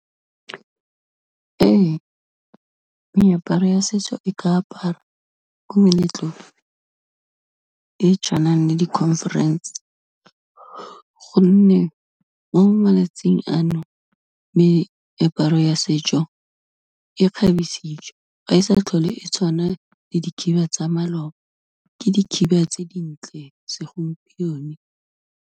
Ee, meaparo ya setso e ka aparwa ko meletlong e tswanang le di conference, gonne mo malatsing a nou, meaparo ya setso, e kgabisitswe ga e sa tlhole e tshwana le dikhiba tsa maloba, ke dikhiba tse dintle segompieno.